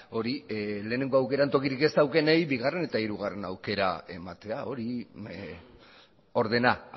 hori lehenengo aukeran tokirik ez daukanei bigarren eta hirugarren aukera ematea hori ordena